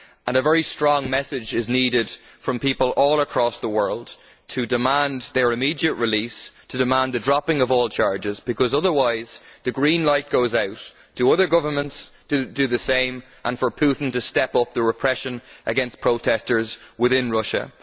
A very strong message is needed from people all across the world to demand their immediate release and the dropping of all charges, because otherwise the green light goes on for other governments do the same and for Putin to step up the repression against protesters within Russia.